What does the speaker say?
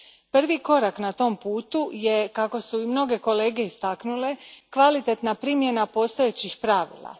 Prvi korak na tom putu je, kako su i mnoge kolege istaknule, kvalitetna primjena postojećih pravila.